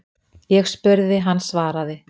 Ég spurði, hann svaraði.